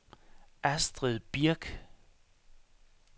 Astrid Birk